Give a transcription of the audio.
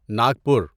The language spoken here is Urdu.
ناگپور